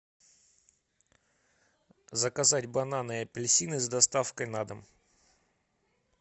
заказать бананы и апельсины с доставкой на дом